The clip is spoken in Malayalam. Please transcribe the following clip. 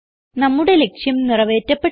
നമ്മുടെ ലക്ഷ്യം നിറവേറ്റപ്പെട്ടു